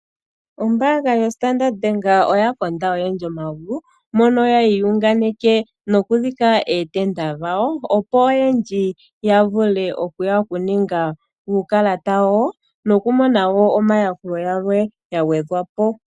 Ombaanga yoStandard Bank oya konda oyendji omagulu mono yali yi iyunganeka noku dhika ootenda dhawo, opo oyendji ya vule okuya oku ninga uukalata wawo noku mona wo omayakulo gamwe ga gwedhwa po.